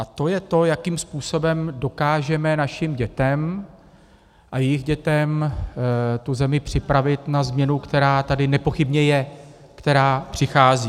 A to je to, jakým způsobem dokážeme našim dětem a jejich dětem tu zemi připravit na změnu, která tady nepochybně je, která přichází.